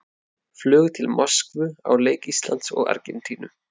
Flug til Moskvu á leik Íslands og Argentínu.